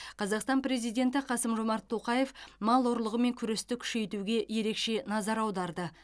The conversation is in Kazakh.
қазақстан президенті қасым жомарт тоқаев мал ұрлығымен күресті күшейтуге ерекше назар аударды